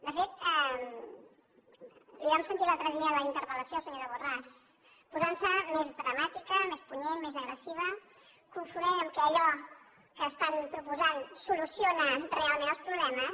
de fet la vam sentir l’altre dia en la interpel·lació senyora borràs posant se més dramàtica més punyent més agressiva confonent que allò que estan proposant soluciona realment els problemes